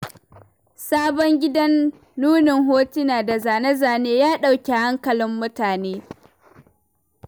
Sabon gidan nunin hotuna da zane-zanen, ya ɗauki hankalin mutane.